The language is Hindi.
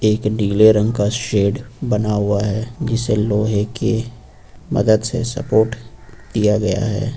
एक नीले रंग का शेड बना हुआ है जिसे लोहे के मदद से सपोर्ट दिया गया है।